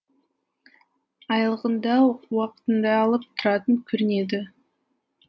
айлығын да уақытында алып тұратын көрінеді